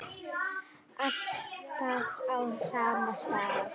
Alltaf á sama stað.